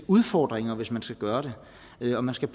udfordringer hvis man skal gøre det og man skal